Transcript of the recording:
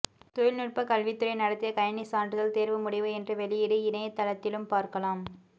தொழில்நுட்பக்கல்வித்துறை நடத்திய கணிணி சான்றிதழ் தேர்வு முடிவு இன்று வெளியீடு இணையதளத்திலும் பார்க்கலாம்